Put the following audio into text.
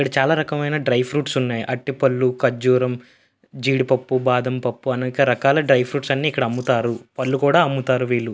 ఇక్కడ చాలా రకామైన డ్రై ఫ్రూట్స్ ఉన్నాయి. అరటి పళ్ళు ఖర్జూరం జీడిపప్పు బాదంపప్పు అనేక రకాల డ్రై ఫ్రూట్స్ అమ్ముతారు. పళ్ళు కూడా అమ్ముతారు వీళ్ళు.